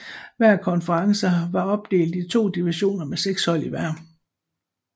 Hver konference var opdelt i to divisioner med seks hold i hver